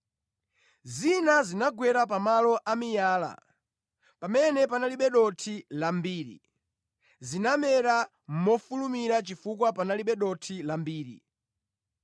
Zina zinagwa pa malo a miyala pamene panalibe dothi lambiri. Zinamera mofulumira chifukwa panalibe dothi lambiri.